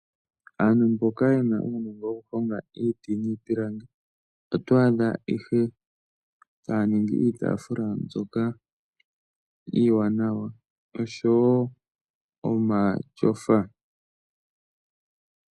Aantu mboka yena uunongo wokuhonga iiti niipilangi, otwa adha ihe taya ningi iitaafula mbyoka iiwanawa noshowo omatyofa.